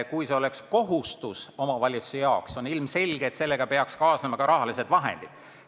Kui see oleks omavalitsuse jaoks kohustus, siis ilmselgelt peaks sellega kaasnema ka teatud rahalised vahendid.